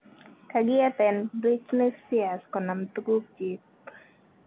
kagieten Britney Spears konam tukunyig